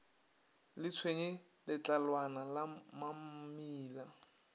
le tshwenye letlalwana la mamila